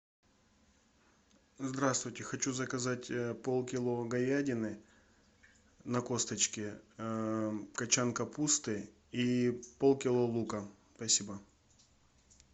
здравствуйте хочу заказать полкило говядины на косточке кочан капусты и полкило лука спасибо